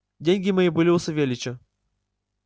деньги мои были у савельича